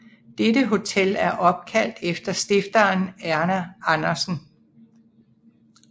Dette hotel er opkaldt efter stifteren Erna Andersen